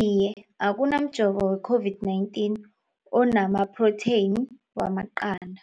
Iye. Akuna mjovo we-COVID-19 ona maphrotheyini wamaqanda.